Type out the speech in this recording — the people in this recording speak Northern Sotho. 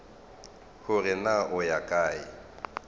gore na o ya kae